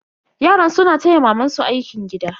Yaran suna taya mamansu aikin gida.